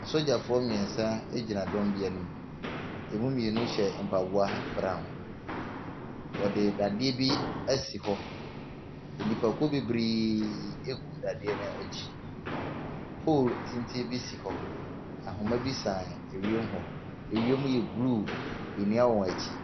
Asogyafoɔ mmeɛnsa gyina dɔm bi anim. Ɛmu mmienu hyɛ mpaboa brown. Wɔde dadeɛ bi asi hɔ. Nnipakuo bebree gu dadeɛ no akyi. Poolu tenten bi si hɔ. Ahoma bi san ewiem hɔ. Ewiem yɛ blue. Nnua wɔ akyi.